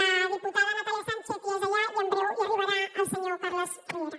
la diputada natàlia sànchez ja és allà i en breu hi arribarà el senyor carles riera